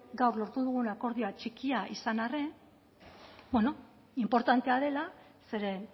gaur lortu dugun akordioa txikia izan arren inportantea dela zeren